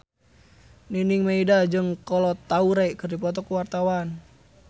Nining Meida jeung Kolo Taure keur dipoto ku wartawan